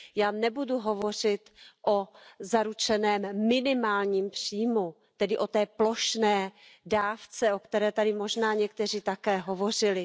Já nebudu hovořit o zaručeném minimálním příjmu, tedy o té plošné dávce, o které tady možná někteří také hovořili.